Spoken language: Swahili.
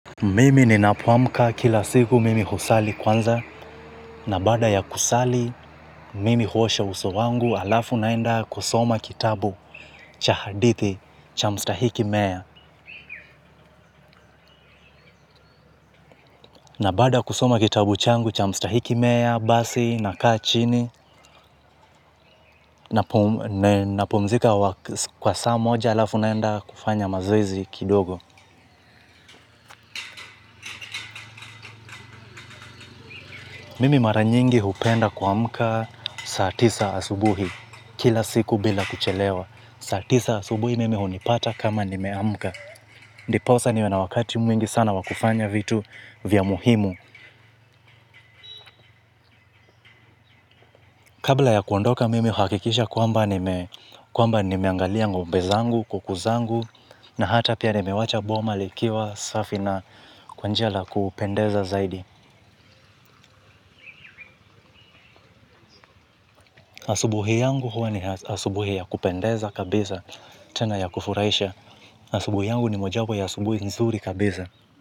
Mimi ninapo amka kila siku mimi usali kwanza na baada ya kusali mimi huosha uso wangu alafu naenda kusoma kitabu cha hadithi cha mstahiki meya na baada ya kusoma kitabu changu cha mstahiki meya basi nakaa chini napumzika kwa saa moja alafu naenda kufanya mazoezj kidogo. Mimi mara nyingi hupenda kuamka saa tisa asubuhi kila siku bila kuchelewa. Saa tisa asubuhi mimi hunipata kama nimeamuka. Ndiposa niwe na wakati mwingi sana kufanya vitu vya muhimu. Kabla ya kuondoka mimi uhakikisha kwamba nimeangalia ngombe zangu, kuku zangu, na hata pia nimewacha boma likiwa safi na kwa njia la kupendeza zaidi. Asubuhi yangu huwa ni asubuhi ya kupendeza kabisa tena ya kufuraisha. Asubuhi yangu ni moja wapo ya asubuhi nzuri kabisa.